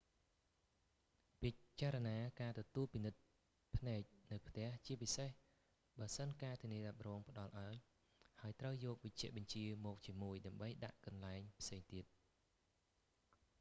ពិចារណាការទទួលពិនិត្យភ្នែកនៅផ្ទះ ជាពិសេសបើសិនការធានារ៉ាប់រងផ្តល់ឱ្យ ហើយត្រូវយកវេជ្ជបញ្ជាមកជាមួយដើម្បីដាក់កន្លែងផ្សេងទៀត